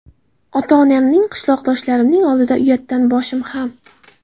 Ota-onamning, qishloqdoshlarimning oldida uyatdan boshim ham.